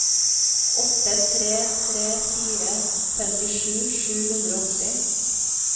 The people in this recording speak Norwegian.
åtte tre tre fire femtisju sju hundre og åtti